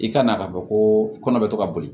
I ka na ka bɔ ko i kɔnɔ bɛ to ka boli